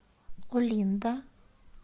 олинда